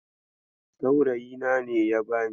Saurayina ne ya bani.